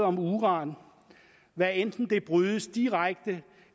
om uran hvad enten det brydes direkte